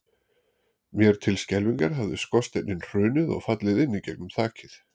Mér til skelfingar hafði skorsteinninn hrunið og fallið inn í gegnum þakið.